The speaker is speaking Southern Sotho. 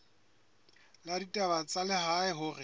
la ditaba tsa lehae hore